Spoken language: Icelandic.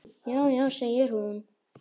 Já, já segir hún.